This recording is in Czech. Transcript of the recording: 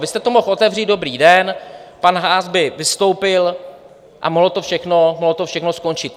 Vy jste to mohl otevřít dobrý den, pan Haas by vystoupil a mohlo to všechno skončit.